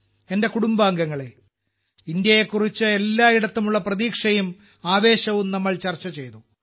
എന്റെ കുടുംബാംഗങ്ങളേ ഇന്ത്യയെക്കുറിച്ച് എല്ലായിടത്തും ഉള്ള പ്രതീക്ഷയും ആവേശവും നാം ചർച്ചചെയ്തു